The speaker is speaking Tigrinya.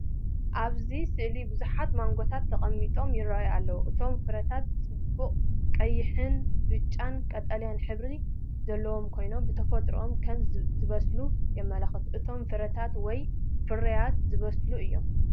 ኣብዚ ስእሊ ብዙሓት ማንጎታት ተቐሚጦም ይራኣዩ ኣለዉ። እቶም ፍረታት ጽቡቕ ቀይሕን ብጫን ቀጠልያን ሕብሪ ዘለዎም ኮይኖም፡ ብተፈጥሮኦም ከም ዝበሰሉ የመልክት። እቶም ፍረታት ወይ ፍሩያት ዝበሰሉ እዮም።